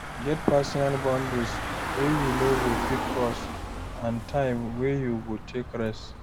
Get personal boundaries wey you no go fit cross and time wey you go take rest